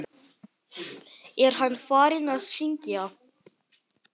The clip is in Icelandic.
Jafnvel að óminni.